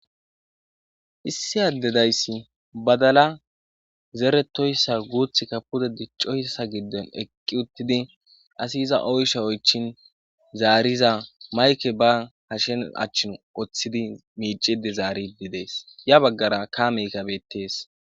Issi addedayssi badala zeretoyssa guuth ka puda diccoyssa gidden eqqi uttidi asi iza oysha oychin zaariza mayke ba hashen achchin oththidi miicide zaarididees ya baggara ka meka beettees.